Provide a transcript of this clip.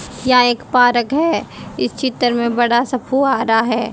यह एक पार्क है इस चित्र में बड़ा सा फुआरा है।